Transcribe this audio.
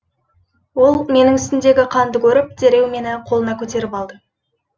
ол менің үстімдегі қанды көріп дереу мені қолына көтеріп алды